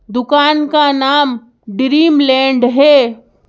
दुकान का नाम ड्रीमलैंड है।